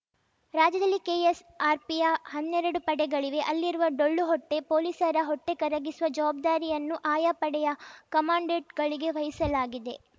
ರಾಜ್ಯದಲ್ಲಿ ಕೆಎಸ್‌ಆರ್‌ಪಿಯ ಹನ್ನರಡು ಪಡೆಗಳಿವೆ ಅಲ್ಲಿರುವ ಡೊಳ್ಳು ಹೊಟ್ಟೆ ಪೊಲೀಸರ ಹೊಟ್ಟೆಕರಗಿಸುವ ಜವಾಬ್ದಾರಿಯನ್ನು ಅಯಾ ಪಡೆಯ ಕಮಾಂಡೆಂಟ್‌ಗಳಿಗೆ ವಹಿಸಲಾಗಿದೆ